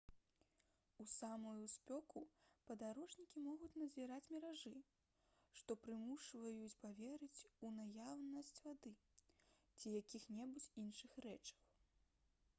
у самую спёку падарожнікі могуць назіраць міражы што прымушаюць паверыць у наяўнасць вады ці якіх-небудзь іншых рэчаў